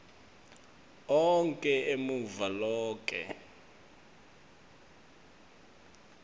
onkhe emave loke